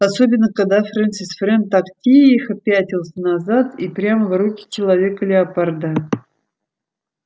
особенно когда фрэнсис фрэн так тихо пятился назад и прямо в руки человека-леопарда